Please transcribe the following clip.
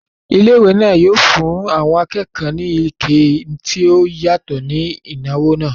Ilé ìwé náà yóò fún àwọn akẹ́kọ̀ọ́ ní ìkẹ́ tí ó yàtọ̀ ní ìnáwó náà